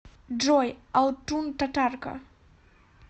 джой алтун татарка